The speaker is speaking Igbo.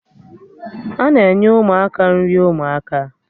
Ana enye Ụmụaka nri ụmụaka